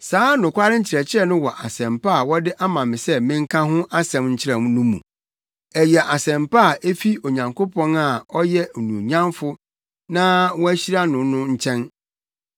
Saa nokware nkyerɛkyerɛ no wɔ Asɛmpa a wɔde ama me sɛ menka ho asɛm nkyerɛ no mu. Ɛyɛ Asɛmpa a efi Onyankopɔn a ɔyɛ onuonyamfo na wɔahyira no no nkyɛn.